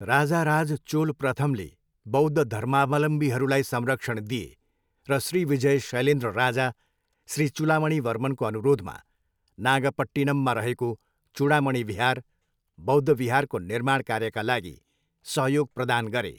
राजाराज चोल प्रथमले बौद्धधर्मावलम्बीहरूलाई संरक्षण दिए र श्रीविजय शैलेन्द्र राजा श्री चुलामणीवर्मनको अनुरोधमा नागपट्टिनममा रहेको चुडामणि बिहार, बौद्ध बिहारको निर्माण कार्यका लागि सहयोग प्रदान गरे।